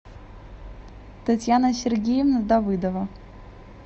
татьяна сергеевна давыдова